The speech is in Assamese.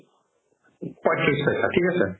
পঁইত্ৰিশ পাইছা থিক আছে